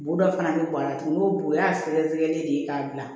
Boda fana bi b'an na tuguni n'o bo o y'a sɛgɛsɛgɛlen de ye k'a bila